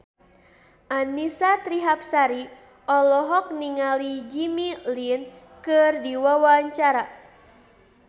Annisa Trihapsari olohok ningali Jimmy Lin keur diwawancara